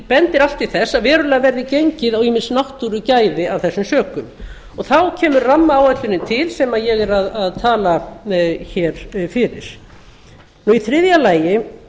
bendir allt til þess að verulega verði gengið á ýmis náttúrugæði f þessum sökum þá kemur rammaáætlunin til sem ég er að tala fyrir í þriðja lagi